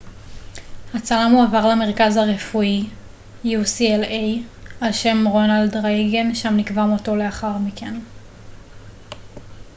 הצלם הועבר למרכז הרפואי ucla על שם רונלד רייגן שם נקבע מותו לאחר מכן